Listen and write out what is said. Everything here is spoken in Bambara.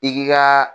I k'i ka